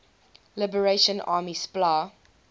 liberation army spla